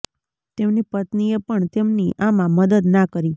તેમની પત્નીએ પણ તેમની આમાં મદદ ના કરી